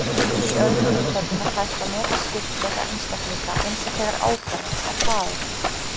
Í öðrum tilfellum er hægt að meta skyldleika einstaklinga, eins og þegar ákvarða þarf faðerni.